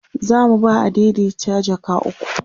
zamu ba adaidaita jaka ukwu